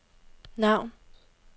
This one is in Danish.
navn